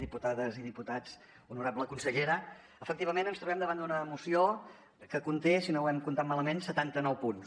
diputades i diputats honorable consellera efectivament ens trobem davant d’una moció que conté si no ho hem comptat malament setanta nou punts